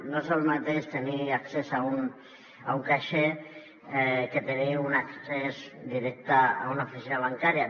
no és el mateix tenir accés a un caixer que tenir un accés directe a una oficina bancària